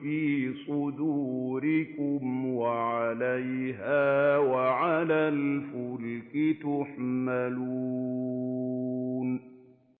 فِي صُدُورِكُمْ وَعَلَيْهَا وَعَلَى الْفُلْكِ تُحْمَلُونَ